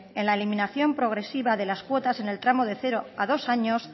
en la eliminación progresiva de las cuotas en el tramo de cero a dos años